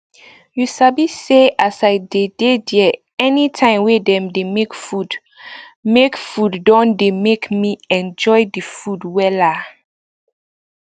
you sabi say as i dey dey there anytime wey dem dey make food make food don dey make me enjoy the food wella